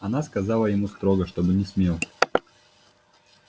она сказала ему строго чтоб не смел